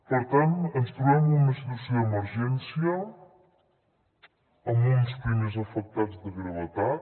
per tant ens trobem en una situació d’emergència amb uns primers afectats de gravetat